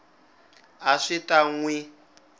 a swi ta n wi